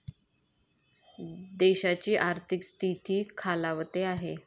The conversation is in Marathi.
देशाची आर्थिक स्थिती खालावते आहे.